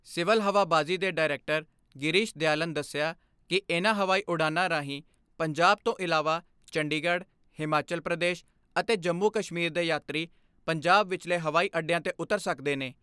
Civil ਹਵਾਬਾਜੀ ਦੇ director Girish Dayalan ਦਸਿਆ ਕਿ ਇਨ੍ਹਾਂ ਹਵਾਈ ਉਡਾਣਾਂ ਰਾਹੀਂ ਪੰਜਾਬ ਤੋਂ ਇਲਾਵਾ ਚੰਡੀਗੜ੍ਹ, ਹਿਮਾਚਲ ਪ੍ਰਦੇਸ਼ ਅਤੇ ਜੰਮੂ ਕਸ਼ਮੀਰ ਦੇ ਯਾਤਰੀ ਪੰਜਾਬ ਵਿਚਲੇ ਹਵਾਈ ਅੱਡਿਆਂ ਤੇ ਉੱਤਰ ਸਕਦੇ ਨੇ।